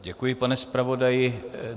Děkuji, pane zpravodaji.